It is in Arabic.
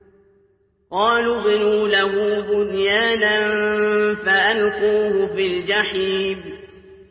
قَالُوا ابْنُوا لَهُ بُنْيَانًا فَأَلْقُوهُ فِي الْجَحِيمِ